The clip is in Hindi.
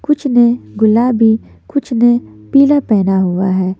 कुछ ने गुलाबी कुछ ने पीला पहना हुआ है।